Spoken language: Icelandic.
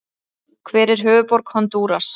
Hver er höfuðborg Honduras?